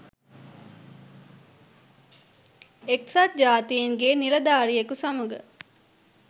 එක්සත් ජාතීන්ගේ නිලධාරියකු සමඟ